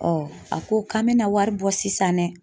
a ko k'an bɛna wari bɔ sisan dɛ.